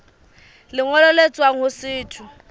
lengolo le tswang ho setho